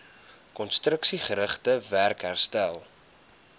konstruksiegerigte werk herstel